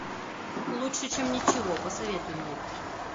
лучше чем ничего посоветуй мне